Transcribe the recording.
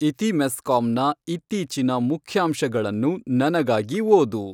ಇತಿಮೆಸ್ಕಾಂ ನ ಇತ್ತೀಚಿನ ಮುಖ್ಯಾಂಶಗಳನ್ನು ನನಗಾಗಿ ಓದು